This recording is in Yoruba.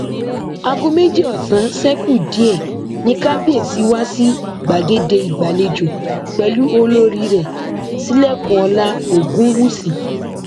aago méjì ọsán ṣe kù díẹ ni kábíẹsì wá sì gbàgede ìgbàlejò pẹlú olórí rẹ sílẹkùnọlá ogunwúsì